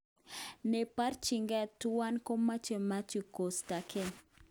Neborchinke tuwan komoche Mathew kostake2